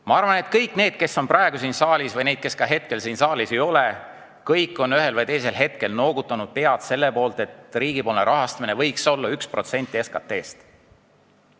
Ma arvan, et kõik need, kes on praegu siin saalis, ja need, kes momendil siin saalis ei ole, kõik on ühel või teisel hetkel noogutanud pead, et selle valdkonna riigipoolne rahastamine võiks olla 1% SKT-st.